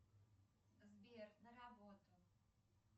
сбер на работу